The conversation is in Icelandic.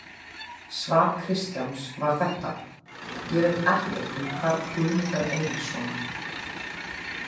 Svar Kristjáns var þetta: Ég veit ekkert um hvarf Guðmundar Einarssonar.